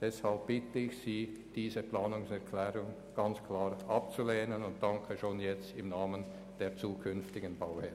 Deshalb bitte ich Sie, diese Planungserklärung klar abzulehnen, und dafür danke ich schon jetzt im Namen der zukünftigen Bauherren.